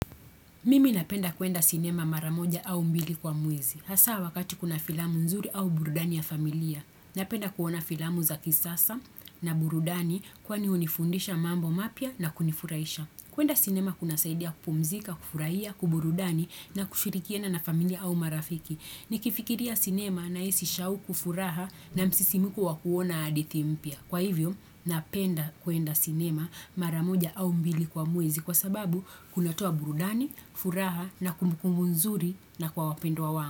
Mimi napenda kuenda sinema maramoja au mbili kwa mwezi. Hasa wakati kuna filamu nzuri au burudani ya familia. Napenda kuona filamu za kisasa na burudani kwani unifundisha mambo mapya na kunifuraisha. Kuenda sinema kuna saidia kupumzika, kufuraiya, kwa burudani na kushirikiana na familia au marafiki. Nikifikiria sinema na isi shauku furaha na msisimiko wa kuona adithi mpya. Kwa hivyo, napenda kuenda cinema maramoja au mbili kwa mwezi kwa sababu kunatoa burudani, furaha na kumbu kumbu nzuri na kwa wapendo wangu.